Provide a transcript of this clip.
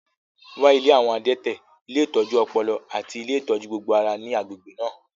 Wá ilé àwọn adẹ́tẹ̀, ilé ìtọ́jú ọpọlọ, àti ilé ìtọ́jú gbogbo ara ní agbègbè náà